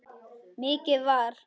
Mikið var!